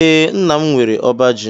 Ee, nnam nwere ọbá ji